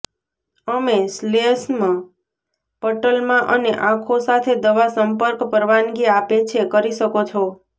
અમે શ્લેષ્મ પટલમાં અને આંખો સાથે દવા સંપર્ક પરવાનગી આપે છે કરી શકો છો